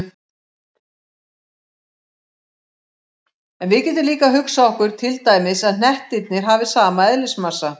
En við getum líka hugsað okkur til dæmis að hnettirnir hafi sama eðlismassa.